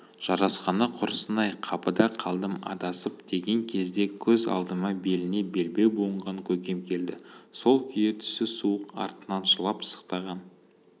жарасқаны құрысын-ай қапыда қалдым адасып деген кезде көз алдыма беліне белбеу буынған көкем келді сол күйі түсі суық артынан жылап-сықтаған